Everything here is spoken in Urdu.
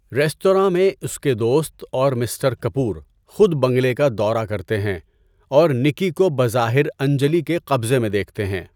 ریستوراں میں اس کے دوست اور مسٹر کپور خود بنگلے کا دورہ کرتے ہیں اور نکی کو بظاہر انجلی کے قبضے میں دیکھتے ہیں۔